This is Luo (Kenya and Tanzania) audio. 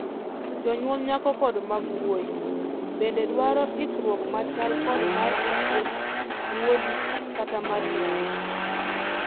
Jonyuol nyako kod mag wuoyi bende dwaro ikruok machal kod mar osiep wuodi kata mar nyari.